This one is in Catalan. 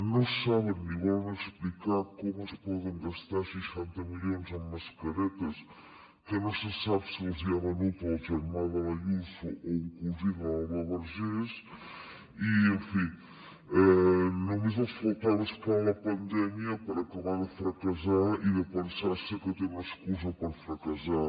no saben ni volen explicar com es poden gastar seixanta milions en mascaretes que no se sap si els hi ha venut el germà de l’ayuso o un cosí de l’alba vergés i en fi només els faltava és clar la pandèmia per acabar de fracassar i de pensar se que tenen una excusa per fracassar